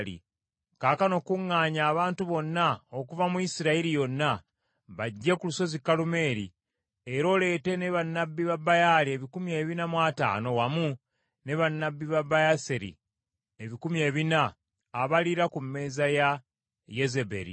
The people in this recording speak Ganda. Kaakano kuŋŋaanya abantu bonna okuva mu Isirayiri yonna bajje ku lusozi Kalumeeri era oleete ne bannabbi ba Baali ebikumi ebina mu ataano wamu ne bannabbi ba Baaseri ebikumi ebina, abaliira ku mmeeza ya Yezeberi.”